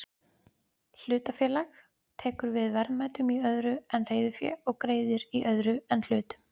Hlutafélag tekur við verðmætum í öðru en reiðufé og greiðir í öðru en hlutum.